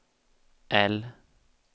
L